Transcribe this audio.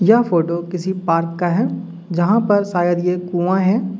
यह फोटो किसी पार्क का है जहां पर शायद ये कुआं है।